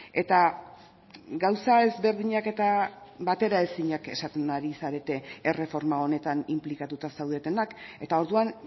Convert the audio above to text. eta gauza ezberdinak eta bateraezinak esaten ari zarete erreforma honetan inplikatuta zaudetenak eta orduan